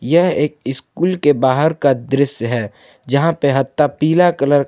यह एक स्कूल के बाहर का दृश्य है जहां पे हत्ता पीला कलर का--